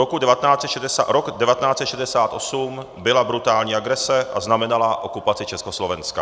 Rok 1968 byla brutální agrese a znamenala okupaci Československa.